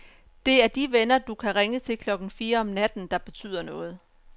Det er de venner, du kan ringe til klokken fire om natten, der betyder noget.